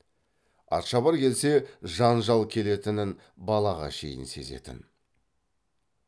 атшабар келсе жанжал келетінін балаға шейін сезетін